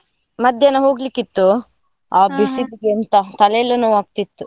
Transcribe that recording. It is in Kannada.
ಮಧ್ಯಾಹ್ನ ಹೋಗ್ಲಿಕ್ಕಿತ್ತು, ಎಂಥ ತಲೆಯೆಲ್ಲಾ ನೋವಾಗ್ತಿತ್ತು.